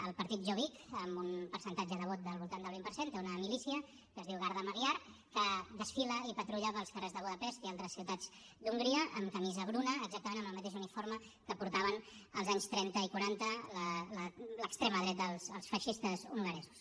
el partit jobbik amb un percentatge de vot del voltant del vint per cent té una milícia que es diu magyar gárda que desfila i patrulla pels carrers de budapest i altres ciutats d’hongria amb camisa bruna exactament amb el mateix uniforme que portava als anys trenta i quaranta l’extrema dreta els feixistes hongaresos